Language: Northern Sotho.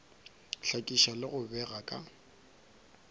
hlakiša le go bega ka